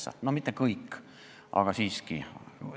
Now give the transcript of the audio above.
See ei puuduta mitte kõiki, aga siiski.